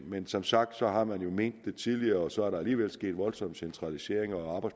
men som sagt har man jo ment det tidligere og så er der alligevel sket voldsomme centraliseringer og